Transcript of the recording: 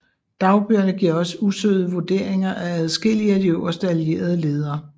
Dagbøgerne giver også usødede vurderinger af adskillige af de øverste allierede ledere